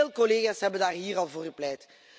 Veel collega's hebben daar hier al voor gepleit.